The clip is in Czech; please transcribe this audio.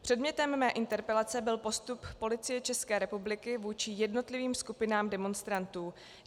Předmětem mé interpelace byl postup Policie České republiky vůči jednotlivým skupinám demonstrantů.